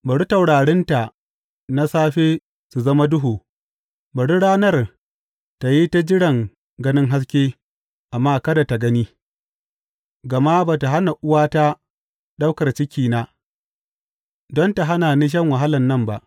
Bari taurarinta na safe su zama duhu; bari ranar tă yi ta jiran ganin haske amma kada tă gani, gama ba tă hana uwata ɗaukar cikina, don ta hana ni shan wahalan nan ba.